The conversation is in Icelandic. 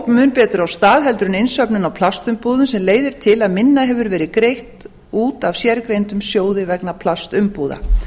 mun betur af stað en innsöfnun á plastumbúðum sem leiðir til að minna hefur verið greitt út af sérgreindum sjóði vegna plastumbúða